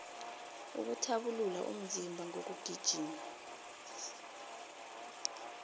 ukuthabulula umzimba ngokugijima